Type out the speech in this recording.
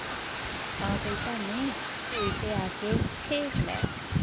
ਆ ਬਈ ਪਾਨੇ ਤੂੰ ਇੱਥੇ ਆਕੇ ਖੇਡ ਲੈ